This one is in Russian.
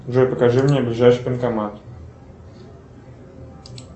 джой покажи мне ближайший банкомат